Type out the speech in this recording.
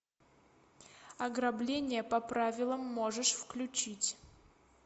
ограбление по правилам можешь включить